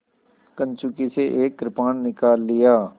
कंचुकी से एक कृपाण निकाल लिया